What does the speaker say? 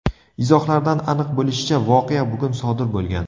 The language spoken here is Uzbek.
Izohlardan aniq bo‘lishicha, voqea bugun sodir bo‘lgan.